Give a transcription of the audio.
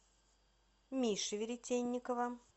миши веретенникова